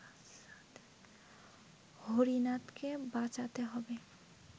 হরিনাথকে বাঁচাতে হবে